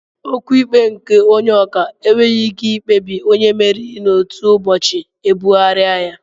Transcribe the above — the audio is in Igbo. Okwu ikpe nke Onye ọka enweghị ike ikpebi onye mmeri n'otu ụbọchị ebugharịa ya